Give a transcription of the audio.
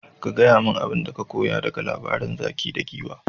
Ka gaya min abinda ka koya daga labarin zaki da Giwa.